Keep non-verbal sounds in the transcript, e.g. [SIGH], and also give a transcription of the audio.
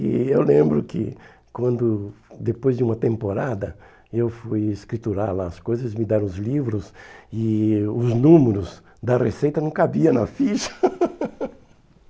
E eu lembro que quando, depois de uma temporada, eu fui escriturar lá as coisas, me deram os livros e os números da receita não cabia na ficha. [LAUGHS]